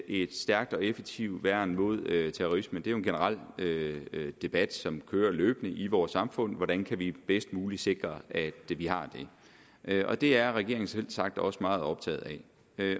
et stærkt og effektivt værn mod terrorisme det er jo en generel debat som kører løbende i vores samfund hvordan kan vi bedst muligt sikre at vi har det og det er regeringen selvsagt også meget optaget